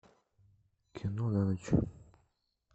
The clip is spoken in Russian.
кино на ночь